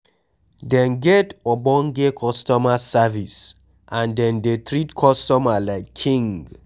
Dem get ogbonge customer service and dem dey treat customer like king